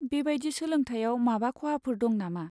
बेबायदि सोलोंथाइयाव माबा खहाफोर दं नामा?